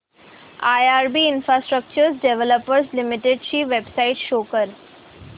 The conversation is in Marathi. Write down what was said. आयआरबी इन्फ्रास्ट्रक्चर डेव्हलपर्स लिमिटेड ची वेबसाइट शो करा